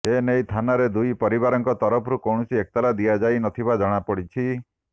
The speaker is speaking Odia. ଏନେଇ ଥାନାରେ ଦୁଇ ପରିବାରଙ୍କ ତରଫରୁ କୌଣସି ଏତଲା ଦିଆଯାଇ ନଥିବା ଜଣାପଡିଛି